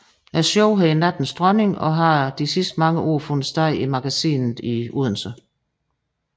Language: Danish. Showet hedder Nattens Dronning og har de sidste mange år fundet sted i Magasinet i Odense